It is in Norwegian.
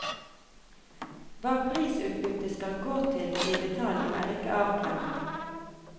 Hva prisutbyttet skal gå til i detalj, er ikke avklart.